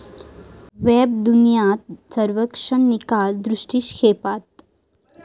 वेबदुनिया सर्वेक्षण निकाल दृष्टिक्षेपात